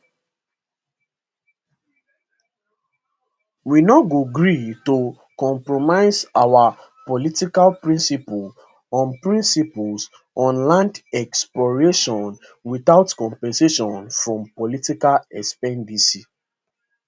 we no go agree to compromise our political principles on principles on land expropriation without compensation for political expediency